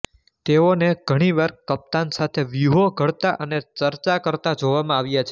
તેઓ ને ઘણી વાર કપ્તાન સાથે વ્યૂહો ઘડતા અને ચર્ચા કરતા જોવામાં આવ્યા છે